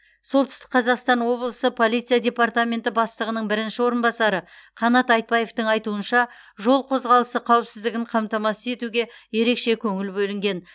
солтүстік қазақстан облысы полиция департаменті бастығының бірінші орынбасары қанат айтбаевтың айтуынша жол қозғалысы қауіпсіздігін қамтамасыз етуге ерекше көңіл бөлінген